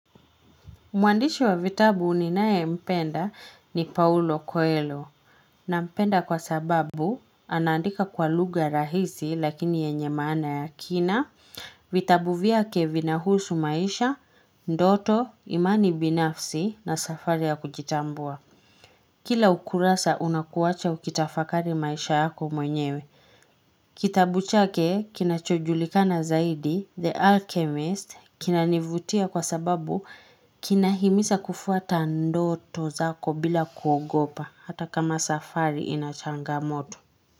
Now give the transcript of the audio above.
Mwandishi wa vitabu ninaye mpenda ni Paulo Coelho nampenda kwa sababu anaandika kwa lugha rahisi lakini yenye maana ya kina, vitabu vyake vinahusu maisha, ndoto, imani binafsi na safari ya kujitambua. Kila ukurasa unakuwacha ukitafakari maisha yako mwenyewe. Kitabu chake kinachojulikana zaidi The Alchemist kinanivutia kwa sababu kinahimisa kufuata ndoto zako bila kuogopa hata kama safari ina changamoto.